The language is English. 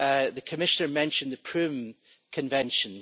The Commissioner mentioned the Prüm Convention.